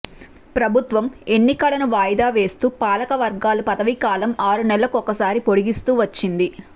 ప్రభుత్వం ఎన్నికలను వాయిదా వేస్తూ పాలక వర్గాల పదవి కాలం ఆరు నెలల కొక్కసారి పొడిగిస్తూ వచ్చింది